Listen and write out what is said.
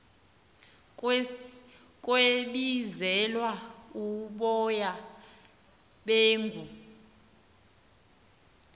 kwebizelwa uboya beegu